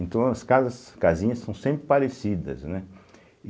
Então, as casas casinhas são sempre parecidas, né?